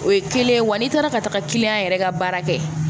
O ye kelen ye wa n'i taara ka taga yɛrɛ ka baara kɛ